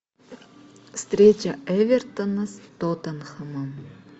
встреча эвертона с тоттенхэмом